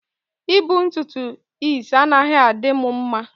I bu ntutu is anaghi adimu mma.